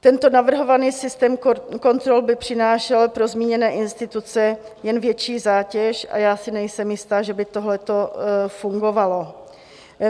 Tento navrhovaný systém kontrol by přinášel pro zmíněné instituce jen větší zátěž a já si nejsem jistá, že by tohleto fungovalo.